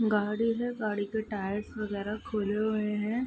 गाड़ी है गाड़ी के टायर्स वगेरह खुले हुए हैं।